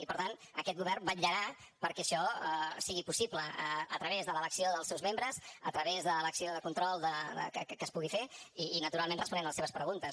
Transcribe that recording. i per tant aquest govern vetllarà perquè això sigui possible a través de l’elecció dels seus membres a través de l’acció de control que es pugui fer i naturalment responent a les seves preguntes